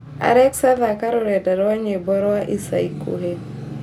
alexa thaaka rũrenda rwa nyĩmbo rwa ica ikuhĩ